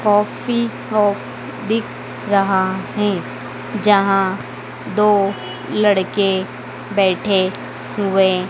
coffee shop दिख रहा हैं जहां दो लड़के बैठे हुएं--